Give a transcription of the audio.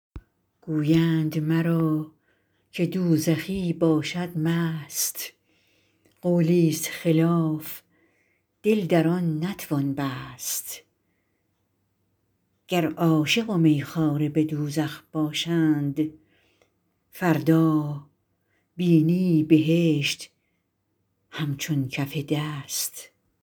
گویند مرا که دوزخی باشد مست قولی ست خلاف دل در آن نتوان بست گر عاشق و می خواره به دوزخ باشند فردا بینی بهشت همچون کف دست